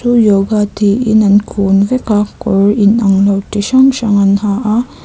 chu yoga tiin an kun veka kawr in anglo chi hrang hrang an ha a.